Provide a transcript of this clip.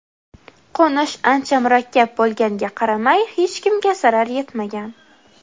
Qo‘nish ancha murakkab bo‘lganiga qaramay hech kimga zarar yetmagan.